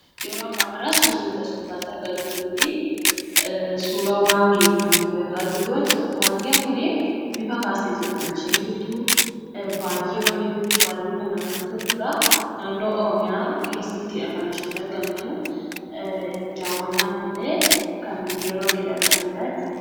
Yeroo ammaan kana surri as gubbatti argaa jirru kunii, suura waangeeti kan nuti argaa jirruu jechuudha. Waangeen kunii, luka kaasteetudha kan isheen jirtuu. Baay'ee bareeddu, baay'ee kan namatti toltuudha. Naannoo Oromiyaa keessatiidha kan isheen argamtuu. Dawwannaafillee kan biyya bakeedhaa dhufaniidhaa jechuudha.